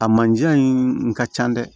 A manje in ka ca dɛ